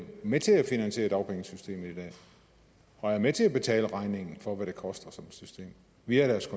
med til at finansiere dagpengesystemet i dag og er med til at betale regningen for hvad det koster som system via deres